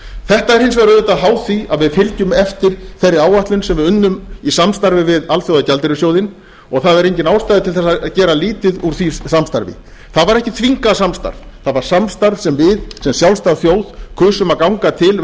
þetta er hins vegar auðvitað háð því að við fylgjum eftir þeirri áætlun sem við unnum í samstarfi við alþjóðagjaldeyrissjóðinn og það er engin ástæða til að gera lítið úr því samstarfi það var ekki þvingað samstarf það var samstarf sem við sem sjálfstæð þjóð kusum að ganga til